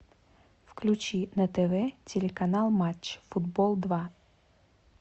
включи на тв телеканал матч футбол два